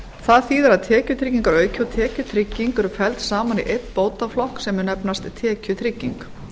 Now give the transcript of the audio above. það þýðir að tekjutryggingarauki og tekjutrygging eru felld hana í einn bótaflokk sem mun nefnast tekjutrygging